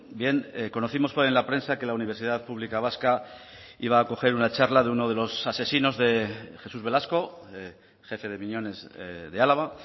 bien conocimos en la prensa que la universidad pública vasca iba a acoger una charla de uno de los asesinos de jesús velasco jefe de miñones de álava